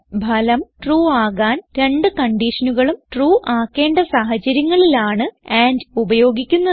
ഫലം ട്രൂ ആകാൻ രണ്ട് കൺഡിഷനുകളും ട്രൂ ആക്കേണ്ട സാഹചര്യങ്ങളിൽ ആണ് ആൻഡ് ഉപയോഗിക്കുന്നത്